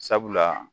Sabula